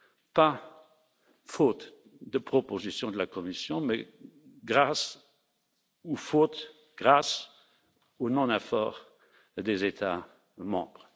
Pas faute de propositions de la Commission, mais grâce ou à cause grâce au non effort des États membres.